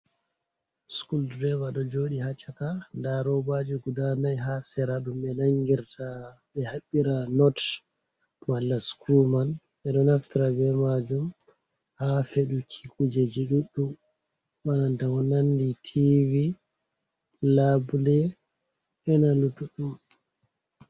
Schul drive ɗo joɗi ha caka nda robaji guda nai ha sera ɗum ɓe na ngirta ɓe habɓira not malla scruw man, ɓeɗo naftira be majum ha feduki kujeji duɗɗum bana ko nandi tivi, labule bena luttuɗum.